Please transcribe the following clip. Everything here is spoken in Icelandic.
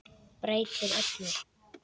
Breytir öllu.